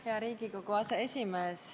Hea Riigikogu aseesimees!